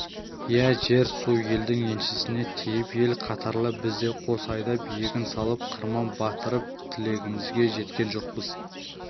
иә жер-су елдің еншісіне тиіп ел қатарлы біз де қос айдап егін салып қырман бастырып тілегімізге жеткен жоқпыз